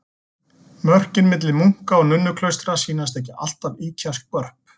Mörkin milli munka- og nunnuklaustra sýnast ekki alltaf ýkja skörp.